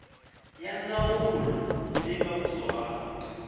ya ndzawulo leyi nga kusuhani